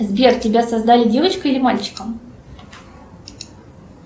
сбер тебя создали девочкой или мальчиком